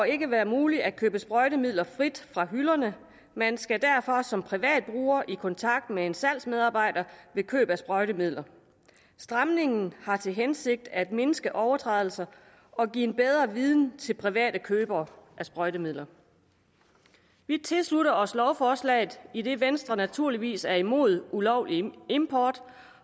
ikke være muligt at købe sprøjtemidler frit fra hylderne man skal derfor som privat bruger i kontakt med en salgsmedarbejder ved køb af sprøjtemidler stramningen har til hensigt at mindske overtrædelser og give en bedre viden til private købere af sprøjtemidler vi tilslutter os lovforslaget idet venstre naturligvis er mod ulovlig import